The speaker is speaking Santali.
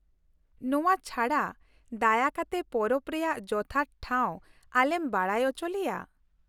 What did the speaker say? ᱱᱚᱶᱟ ᱪᱷᱟᱰᱟ ᱫᱟᱭᱟ ᱠᱟᱛᱮ ᱯᱚᱨᱚᱵᱽ ᱨᱮᱭᱟᱜ ᱡᱚᱛᱷᱟᱛ ᱴᱷᱟᱶ ᱟᱞᱮᱢ ᱵᱟᱰᱟᱭ ᱚᱪᱚ ᱞᱮᱭᱟ ᱾